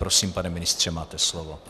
Prosím, pane ministře, máte slovo.